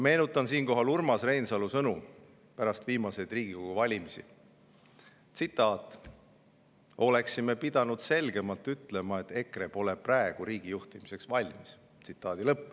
Meenutan siinkohal Urmas Reinsalu sõnu pärast viimaseid Riigikogu valimisi, tsitaat: "Oleksime pidanud selgemalt ütlema, et EKRE pole praegu riigi juhtimiseks valmis.